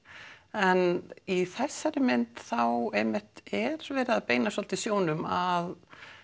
en í þessari mynd þá einmitt er verið að beina svolítið sjónum að